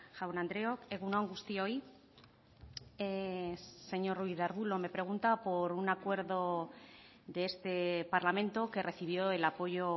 jaun andreok egun on guztioi señor ruiz de arbulo me pregunta por un acuerdo de este parlamento que recibió el apoyo